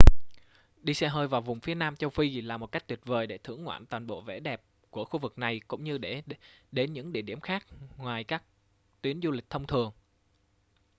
đi xe hơi vào vùng phía nam châu phi là một cách tuyệt vời để thưởng ngoạn toàn bộ vẻ đẹp của khu vực này cũng như để đến những địa điểm ngoài các tuyến du lịch thông thường